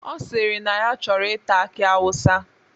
Ọ sịrị na ya chọrọ ita aki awụsa.